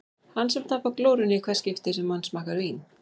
Hann sem tapar glórunni í hvert skipti sem hann smakkar vín.